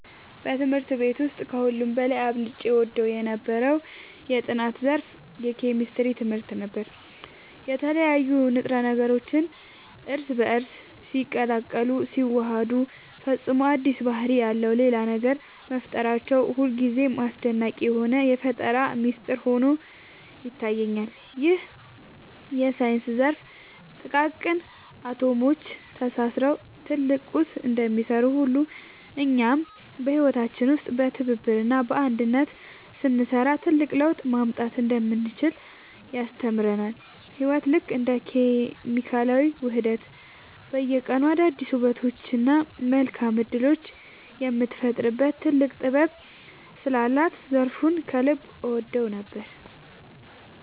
በትምህርት ቤት ውስጥ ከሁሉ በላይ አብልጬ እወደው የነበረው የጥናት ዘርፍ የኬሚስትሪ ትምህርት ነበር። የተለያዩ ንጥረ ነገሮች እርስ በእርስ ሲቀላቀሉና ሲዋሃዱ ፈጽሞ አዲስ ባህሪ ያለው ሌላ ነገር መፍጠራቸው ሁልጊዜም አስደናቂ የሆነ የፈጠራ ሚስጥር ሆኖ ይታየኛል። ይህ የሳይንስ ዘርፍ ጥቃቅን አቶሞች ተሳስረው ትልቅ ቁስ እንደሚሰሩ ሁሉ፣ እኛም በህይወታችን ውስጥ በትብብርና በአንድነት ስንሰራ ትልቅ ለውጥ ማምጣት እንደምንችል ያስተምረናል። ህይወት ልክ እንደ ኬሚካላዊ ውህደት በየቀኑ አዳዲስ ውበቶችንና መልካም እድሎችን የምትፈጥርበት ጥልቅ ጥበብ ስላላት ዘርፉን ከልብ እወደው ነበር።